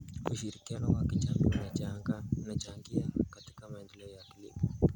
Ushirikiano wa kijamii unachangia katika maendeleo ya kilimo.